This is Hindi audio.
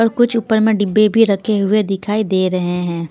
और कुछ ऊपर में डिब्बे भी रखे हुए दिखाई दे रहे हैं.